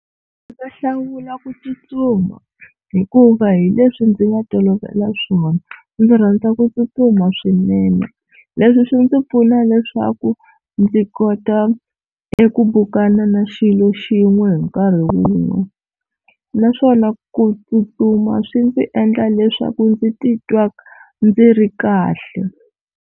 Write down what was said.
Ndzi ta hlawula ku tsutsuma hikuva hi leswi ndzi nga tolovela swona, ndzi rhandza ku tsutsuma swinene leswi swi ndzi pfuna leswaku ndzi kota eku bukana na xilo xin'we hi nkarhi wun'we, naswona ku tsutsuma swi ndzi endla leswaku ndzi titwa ndzi ri kahle.